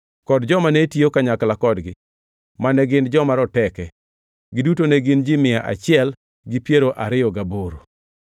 kod joma ne tiyo kanyakla kodgi, mane gin joma roteke. Giduto ne gin ji mia achiel gi piero ariyo gaboro (128). Jatendgi maduongʼ ne en Zabdiel wuod Hagedolim.